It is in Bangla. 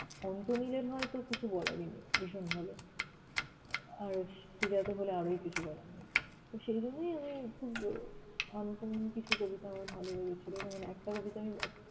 অন্ত্যমিলের হয় তো কিছু বলারই নেই, ভীষণ ভালো। আর শ্রীজাত হলে আরোই কিছু বলার নেই। তো সেজন্যই আমি খুব uncommon কিছু কবিতা আমার ভালো লেগেছিল যেমন একটা কবিতা আমি